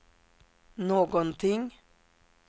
någonting